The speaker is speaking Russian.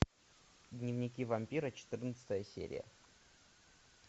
дневники вампира четырнадцатая серия